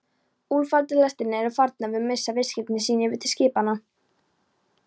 Úlfaldalestirnar eru farnar að missa viðskipti sín yfir til skipanna.